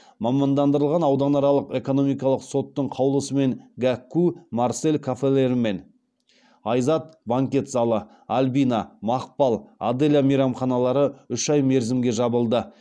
мамандандырылған ауданаралық экономикалық соттың қаулысымен гәкку марсель кафелері мен айзат банкет залы альбина мақпал аделя мейрамханалары үш ай мерзімге жабылды